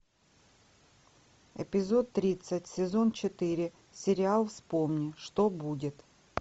эпизод тридцать сезон четыре сериал вспомни что будет